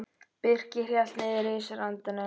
Birkir hélt niðri í sér andanum.